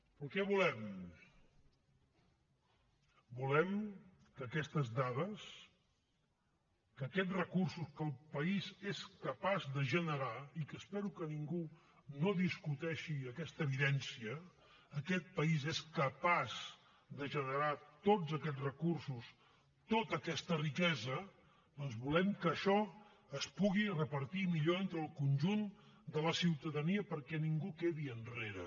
però què volem volem que aquestes dades que aquests recursos que el país és capaç de generar i que espero que ningú no discuteixi aquesta evidència aquest país és capaç de generar tots aquests recursos tota aquesta riquesa doncs volem que això es pugui repartit millor entre el conjunt de la ciutadania perquè ningú quedi enrere